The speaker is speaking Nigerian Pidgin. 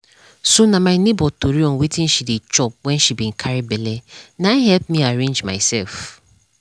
so na my neighbor tori on wetin she dey chop wen she be carry belle na help me arrange myself.